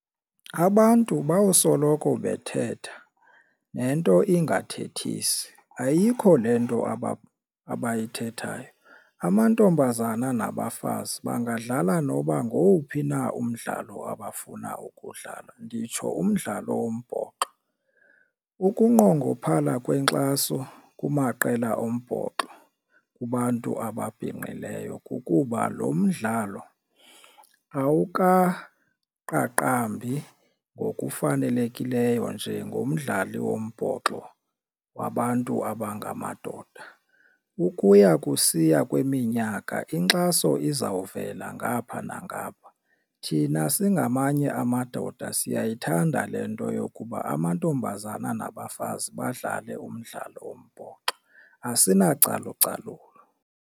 Abantu bawusoloko bethetha nento ingathethisi ayikho le nto abayithethayo. Amantombazana nabafazi bangadlala noba ngowuphi na umdlalo abafuna ukuwudlala nditsho umdlalo wombhoxo. Ukunqongophala kwenkxaso kumaqela ombhoxo kubantu ababhinqileyo kukuba lo mdlalo awukaqaqambi ngokufanelekileyo njengomdlali wombhoxo wabantu abangamadoda. Ukuya kusiya kweminyaka inkxaso izawuvela ngapha nangapha thina singamanye amadoda siyayithanda le nto yokuba amantombazana nabafazi badlale umdlalo wombhoxo asinacalucalulo.